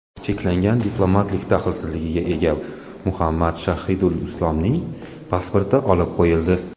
Cheklangan diplomatlik daxlsizligiga ega Muhammad Shahidulislomning pasporti olib qo‘yildi.